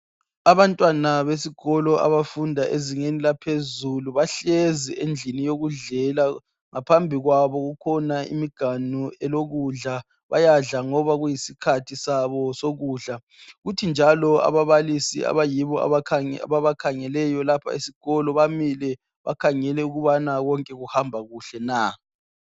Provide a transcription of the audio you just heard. abantwana besikolo abafunda ezingeni laphezulu bahlezi endlini yokudlela ngaphambi kwabo kukhona imiganu elokudla bayadla ngoba kuyisikhathi sabo sokudla kuthi njalo ababalisi abayibo ababakhangeleyo lapha esikolo bamile bakhangele ukuthi konke kuhamaba kuhle na